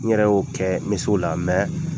N yɛrɛ y'o kɛ, me s'o la mɛ,